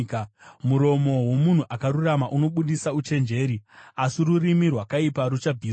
Muromo womunhu akarurama unobudisa uchenjeri, asi rurimi rwakaipa ruchabviswa.